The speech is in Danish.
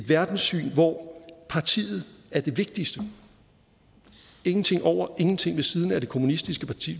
verdenssyn hvor partiet er det vigtigste ingenting over ingen ting ved siden af det kommunistiske parti